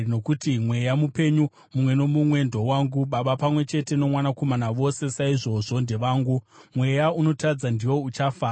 Nokuti mweya mupenyu mumwe nomumwe ndowangu, baba pamwe chete nomwanakomana vose saizvozvo ndevangu. Mweya unotadza ndiwo uchafa.